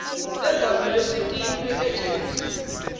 lengamele sikimu egems